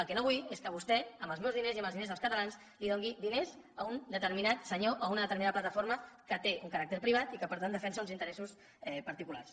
el que no vull és que vostè amb els meus diners i amb els diners dels catalans doni diners a un determinat senyor o a una determinada plataforma que té un caràcter privat i que per tant defensa uns interessos particulars